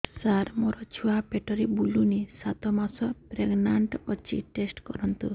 ସାର ମୋର ଛୁଆ ପେଟରେ ବୁଲୁନି ସାତ ମାସ ପ୍ରେଗନାଂଟ ଅଛି ଟେଷ୍ଟ କରନ୍ତୁ